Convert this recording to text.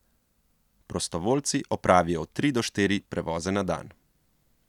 Prostovoljci opravijo od tri do štiri prevoze na dan.